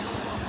Hə, hə.